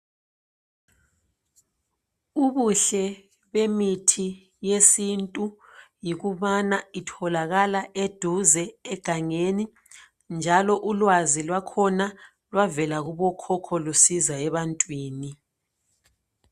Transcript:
Ubuhle bemithi yesintu yikubana itholakala eduze egangeni njalo ulwazi lwakhona lwavela kubokhokho lusiza ebantwini.